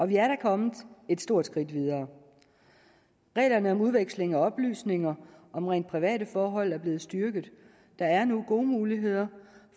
vi er da kommet et stort skridt videre reglerne om udveksling af oplysninger om rent private forhold er blevet styrket der er nu gode muligheder